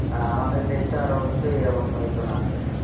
আমাদের দেশটার অবশ্যই এই অবস্থা হতো না আজকে